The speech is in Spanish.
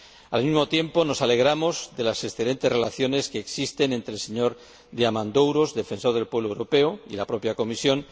Al mismo tiempo nos alegramos de las excelentes relaciones que existen entre el señor Diamandouros, Defensor del Pueblo Europeo, y nuestra propia comisión.